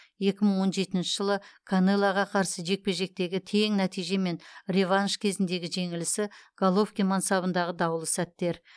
екі мың он жетінші жылы канелоға қарсы жекпе жектегі тең нәтиже мен реванш кезіндегі жеңілісі головкин мансабындағы даулы сәттер